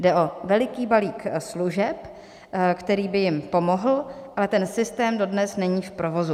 Jde o veliký balík služeb, který by jim pomohl, ale ten systém dodnes není v provozu.